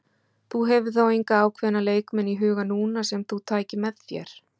Þú hefur þá enga ákveðna leikmenn í huga núna sem þú tækir með þér?